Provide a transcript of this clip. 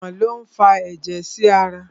Ọkàn lo n fà ẹjẹ sí ará